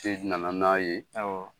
nana n'a ye, awɔ.